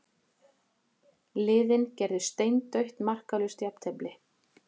Liðin gerðu steindautt markalaust jafntefli